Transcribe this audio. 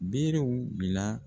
Berew bila